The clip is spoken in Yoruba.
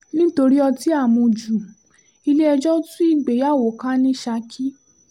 nítorí ọtí àmú ju ilé-ẹjọ́ tú ìgbéyàwó ká ní saki